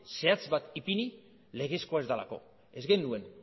zehatz bat ipini legezkoa ez delako ez genuen